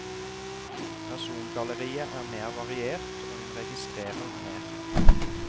Persongalleriet er mer variert, og hun registrerer mer.